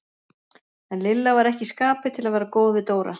En Lilla var ekki í skapi til að vera góð við Dóra.